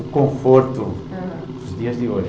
O conforto, uhum, dos dias de hoje.